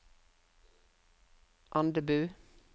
Andebu